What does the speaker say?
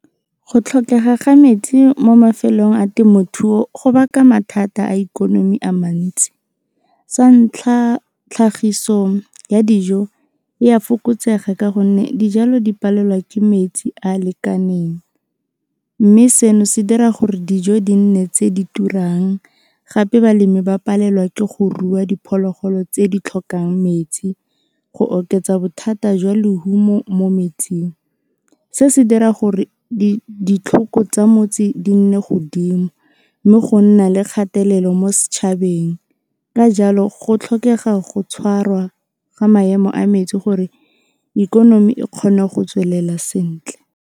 Go tlhokega ga metsi mo mafelong a temothuo go baka mathata a ikonomi a mantsi, sa ntlha tlhagiso ya dijo e a fokotsega ka gonne dijalo di palelwa ke metsi a lekaneng. Mme seno se dira gore dijo di nne tse di turang gape balemi ba palelwa ke go rua diphologolo tse di tlhokang metsi go oketsa bothata jwa lehumo mo metseng, se se dira gore ditlhoko tsa motse di nne godimo mme go nna le kgatelelo mo setšhabeng ka jalo go tlhokega go tshwarwa ga maemo a metsi gore ikonomi e kgone go tswelela sentle.